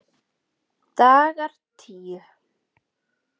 Dagar tíu